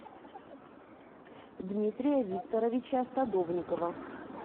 дмитрия викторовича садовникова